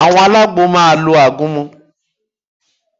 Àwọn alágbo máa lo àgúnmu